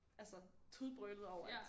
Altså tudbrølede over at